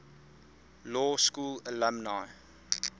law school alumni